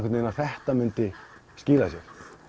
að þetta mundi skila sér